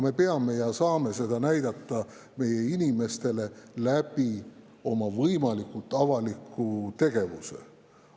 Me saame näidata ja peamegi näitama seda inimestele võimalikult avaliku tegevuse kaudu.